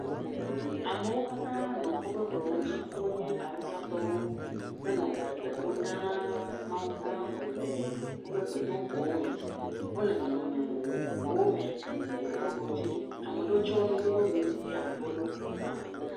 Amewo katã nɔ wobe klowo dzi, wonye awusatɔwo, henɔ gbe dom ɖa na Mawugã le wobe gbedoxɔwo me. Wole nɔnɔme vovovowo me le wobe klo dzi, ame ɖewo tsyɔ nu wobe nu eye ame ɖewo ɖɔ kuku hã.